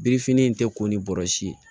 Birifini tɛ ko ni bɔrɔsi ye